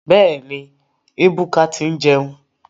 Bẹ́ẹ̀ni, Ebuka ti ń jẹun.